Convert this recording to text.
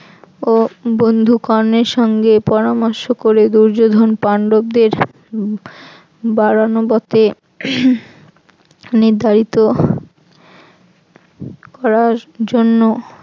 ও বন্ধু কর্ণের সঙ্গে পরামর্শ করে দুর্যোধন পান্ডবদের বাড়ানোবতে নির্ধারিত খোলার জন্য